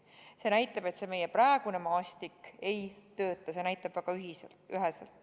See näitab väga üheselt, et meie praegune maastik ei tööta.